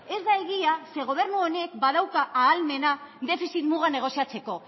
ez da egia zeren eta gobernu honek badauka ahalmena defizit muga negoziatzeko